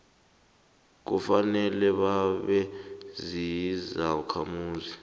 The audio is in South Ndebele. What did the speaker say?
kufanele babe zizakhamuzi